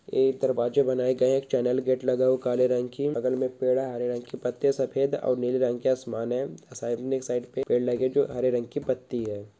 एक दरवाज़े बनाये गए है एक चैनल गेट लगाओ काले रंग की बगल में एक पेड़ है हरे रंग की पत्ते सफ़ेद और नीले रंग की आसमान है साइड में साइड पे पेड़ लगे जो हरे रंग के पत्ती है।